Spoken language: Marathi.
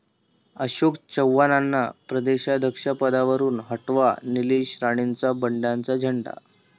अशोक चव्हाणांना प्रदेशाध्यक्षपदावरुन हटवा, निलेश राणेंचा बंडाचा झेंडा